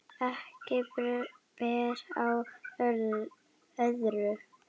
Ekki ber á öðru.